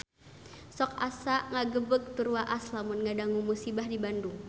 Sok asa ngagebeg tur waas lamun ngadangu musibah di Bandung